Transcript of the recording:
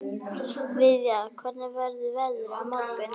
Viðja, hvernig verður veðrið á morgun?